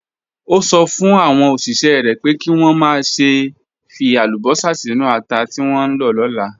Ó sọ fún àwọn òṣìṣẹ́ rẹ̀ pé kí wọ́n má ṣe fi àlùbọ́sà sínú ata tí wọ́n ń lọ lọ́la.